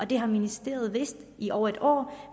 det har ministeriet vidst i over et år